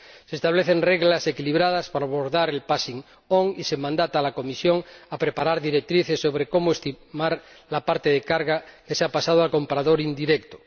Se establecen reglas equilibradas para abordar el passing on y se confiere a la Comisión el mandato de preparar directrices sobre cómo estimar la parte de carga que se ha pasado a comprador indirecto.